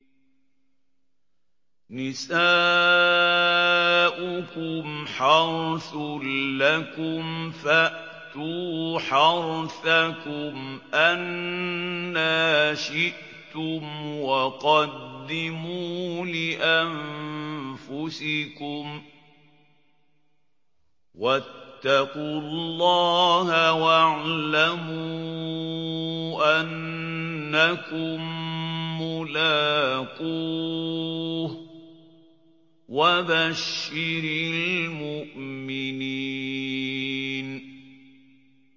نِسَاؤُكُمْ حَرْثٌ لَّكُمْ فَأْتُوا حَرْثَكُمْ أَنَّىٰ شِئْتُمْ ۖ وَقَدِّمُوا لِأَنفُسِكُمْ ۚ وَاتَّقُوا اللَّهَ وَاعْلَمُوا أَنَّكُم مُّلَاقُوهُ ۗ وَبَشِّرِ الْمُؤْمِنِينَ